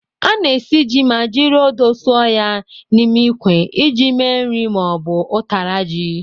A na-esi ji ma jiri odo sọọ ya n'ime ikwe iji me nri ma ọ bụ ụtara ji.